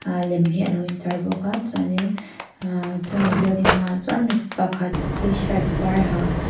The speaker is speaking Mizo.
a lem hi a lo in tar bawk a chuan in ahhh chu mi building hmaah chuan mi pakhat tshirt var ha.